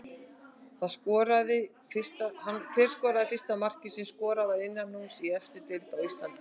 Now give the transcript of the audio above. Hver skoraði fyrsta markið sem skorað var innanhúss í efstu deild á Íslandi?